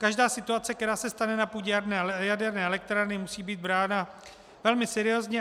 Každá situace, která se stane na půdě jaderné elektrárny, musí být brána velmi seriózně.